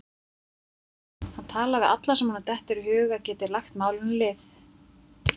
Hann talar við alla sem honum dettur í hug að geti lagt málinu lið.